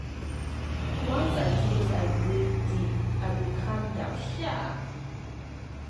once i close eye breathe deep i go calm down sharp.